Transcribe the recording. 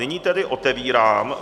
Nyní tedy otevírám